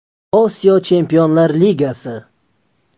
Osiyo Chempionlar ligasi.